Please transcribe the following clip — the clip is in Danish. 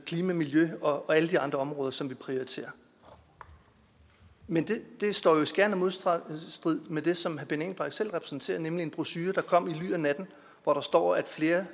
klima og miljø og alle de andre områder som vi prioriterer men det står jo i skærende modstrid med det som herre benny engelbrecht selv repræsenterer nemlig en brochure der kom i ly af natten hvor der står at flere